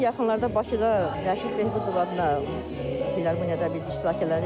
Bu yaxınlarda Bakıda Rəşid Behbudov adına filarmoniyada biz iştirak elədik.